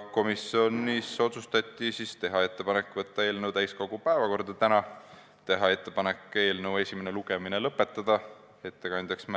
Komisjonis otsustati teha ettepanek võtta eelnõu täiskogu päevakorda tänaseks, teha ettepanek eelnõu esimene lugemine lõpetada, määrata ettekandjaks